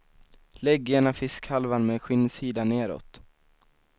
Lägg ena fiskhalvan med skinnsidan nedåt.